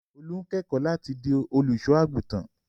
Olú ń kẹ́kọ̀ọ́ láti di olùṣọ́-àgùntàn.